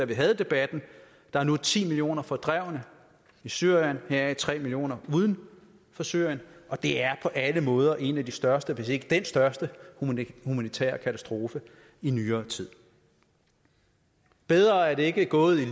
vi havde debatten der er nu ti millioner fordrevne i syrien heraf tre millioner uden for syrien og det er på alle måder en af de største hvis ikke den største humanitære katastrofe i nyere tid bedre er det ikke gået i